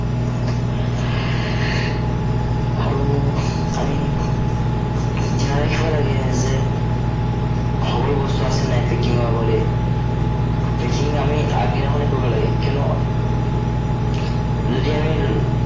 আৰু আমি ধ্য়ান ৰাখিব লাগে যে, সকলো বস্তু আছে নাই packing ৰ আগতেই। packing আমি আগদিনাখনেই কৰিব লাগে, কিয়নো, যদি আমি